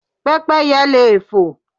Pẹ́pẹ́yẹ leè fo